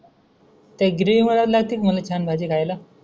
त्या ग्रेव्हीमुळ लवतीन मले छान भाजी खायला.